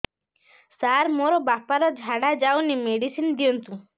ସାର ମୋର ବାପା ର ଝାଡା ଯାଉନି ମେଡିସିନ ଦିଅନ୍ତୁ